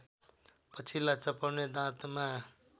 पछिल्ला चपाउने दाँतमा